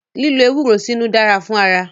Lílo ewúro sínú dára fún ara.